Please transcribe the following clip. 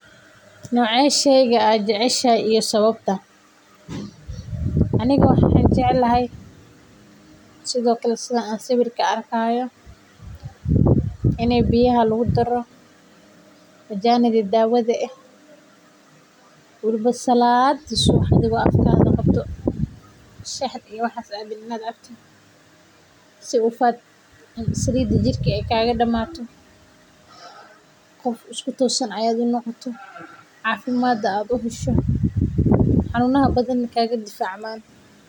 Nocee sheygan aad jeceshahay iyo sababta waxaan jeclahay sida aan arki haayo in biyaha lagu daro daawa weliba salaadi subax inaad cabto si Salida jirka aay kaaga badato.